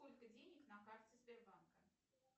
сколько денег на карте сбербанка